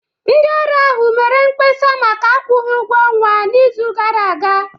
Ndị ọrụ ahụ mere mkpesa maka akwụghị ụgwọ ọnwa n'izu gara aga